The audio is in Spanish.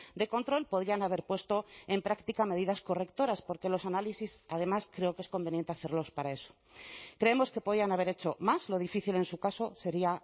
de control podían haber puesto en práctica medidas correctoras porque los análisis además creo que es conveniente hacerlos para eso creemos que podían haber hecho más lo difícil en su caso sería